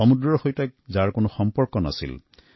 সাগৰৰ সৈতে যাৰ কোনোদিনেই সংযোগ নাছিল